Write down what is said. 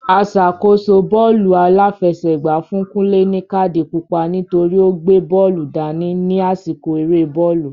Aṣàkóso bọ́ọ́lù aláfẹsẹ̀gbá fún Kunle ní káàdì pupa nítorí o gbé bóòlù dání ní àsìkò eré bọ́ọ̀lù.